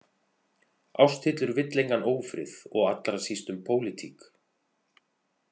Ásthildur vill engan ófrið og allra síst um pólitík.